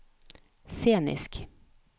scenisk